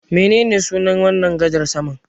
Menene sunan wannan gadar saman?